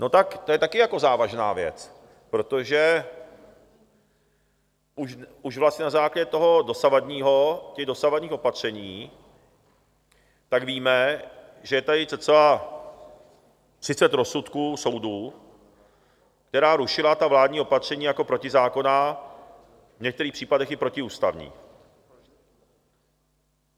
No tak to je taky jako závažná věc, protože už vlastně na základě toho dosavadního, těch dosavadních opatření, tak víme, že je tady cca 30 rozsudků soudů, která rušila ta vládní opatření jako protizákonná, v některých případech i protiústavní.